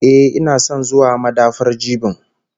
Ehh, ina son zuwa madafar jibin?